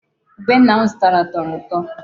Ube nna m zụtara tọrọ ụtọ.